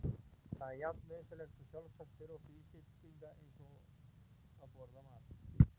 Það er jafn nauðsynlegt og sjálfsagt fyrir okkur Íslendinga eins og að borða mat.